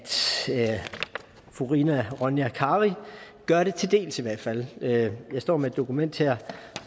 fru rina ronja kari gør det til dels i hvert fald jeg står med et dokument her